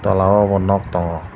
tola o bo nog tongo.